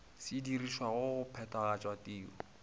se dirišwago go phethagatša tiro